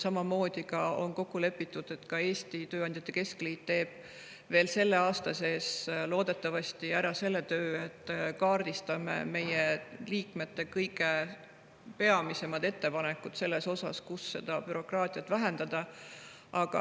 Samamoodi on kokku lepitud, et ka Eesti Tööandjate Keskliit teeb veel selle aasta sees loodetavasti ära selle töö, et me kaardistame meie liikmete peamised ettepanekud selle kohta, kus saaks bürokraatiat vähendada.